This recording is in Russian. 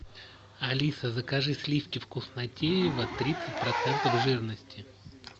алиса закажи сливки вкуснотеево тридцать процентов жирности